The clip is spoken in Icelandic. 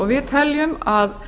við teljum að